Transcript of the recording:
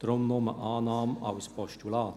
Deshalb: Nur Annahme als Postulat.